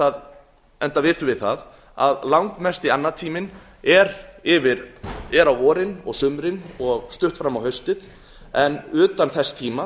háannatímans enda vitum við það að langmesti annatíminn er á vorin og sumrin og stutt fram á haustið en utan þess tíma